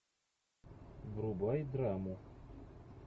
врубай драму